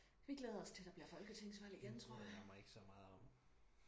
vi glæder os til der bliver folketingsvalg igen tror jeg